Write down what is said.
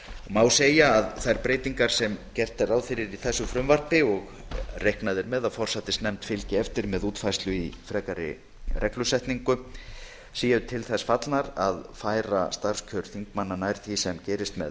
má segja að þær breytingar sem gert er ráð fyrir í þessu frumvarpi og reiknað er með að forsætisnefnd fylgi eftir með útfærslu í frekari reglusetningu séu til þess fallnar að færa starfskjör þingmanna nær því sem gerist með